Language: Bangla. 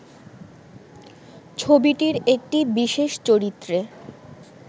ছবিটির একটি বিশেষ চরিত্রে